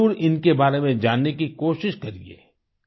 आप जरुर इनके बारे में जानने की कोशिश करिए